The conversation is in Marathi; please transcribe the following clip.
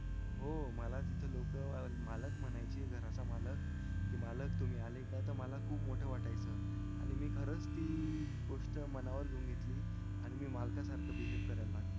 हो मला तिथे लोक मालक म्हणायचे घराचा मालक कि मालक तुम्ही आले का त मला खूप मोठं वाटायचं आणि मी खरंच ती गोष्ट मनावर घेऊन घेतली आणि मी मालकासारखं बिहेव्ह करायला लागलो